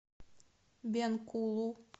бенкулу